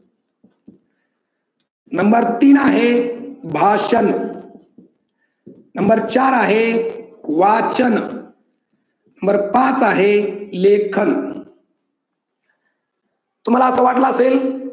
number तीन आहे भाषण नंबर चार आहे वाचन नंबर पाच आहे लेखन तुम्हाला असं वाटलं असेल